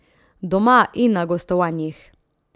Doma in na gostovanjih.